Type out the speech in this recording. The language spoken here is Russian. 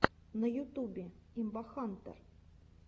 на ютубе имбахантэр